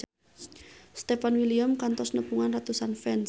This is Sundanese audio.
Stefan William kantos nepungan ratusan fans